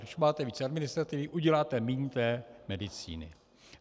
Když máte víc administrativy, uděláte méně té medicíny.